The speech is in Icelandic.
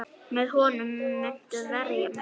Með honum muntu verja mig.